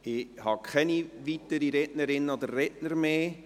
Es gibt keine weiteren Rednerinnen und Redner mehr.